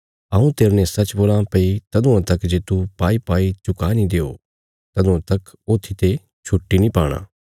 हऊँ तेरने सच्च बोलां भई तदुआं तक जे तू तिस सब किजि रा भुगतान नीं करी दो सै जे तूह पर बाकया रैईरा तदुआं तक तू जेलखान्ने ते कदीं नीं निकल़णा